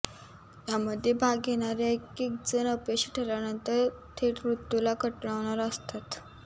यामध्ये भाग घेणारे एकेक जण अपयशी ठरल्यानंतर थेट मृत्यूला कवटाळणार असतात